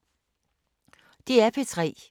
DR P3